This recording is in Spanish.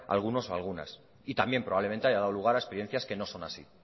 algunos o algunas y también probablemente haya dado lugar a experiencias que no son así